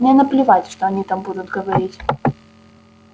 мне наплевать что они там будут говорить